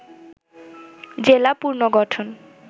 জেলা পুনর্গঠন